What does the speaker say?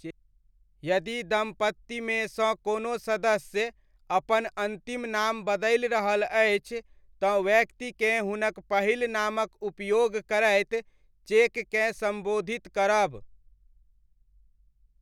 यदि दम्पतिमे सँ कोनो सदस्य अपन अन्तिम नाम बदलि रहल अछि, तँ व्यक्तिकेँ हुनक पहिल नामक उपयोग करैत चेककेँ सम्बोधित करब।